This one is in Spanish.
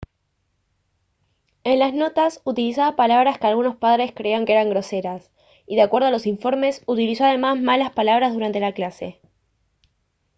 en las notas utilizaba palabras que algunos padres creían que eran groseras y de acuerdo a los informes utilizó además malas palabras durante la clase